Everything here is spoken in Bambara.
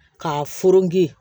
Ka foroki